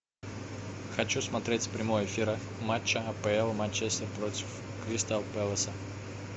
хочу смотреть прямой эфир матча апл манчестер против кристал пэласа